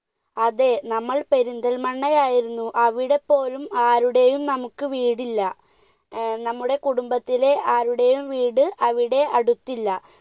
അതെ നമ്മൾ പെരിന്തൽമണ്ണ ആയിരുന്നു, അവിടെ പോലും ആരുടെയും നമുക്ക് വീടില്ല, നമ്മുടെ കുടുംബത്തിലെ ആരുടെയും വീട് അവിടെ അടുത്തില്ല.